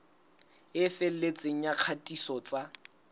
e felletseng ya kgatiso tsa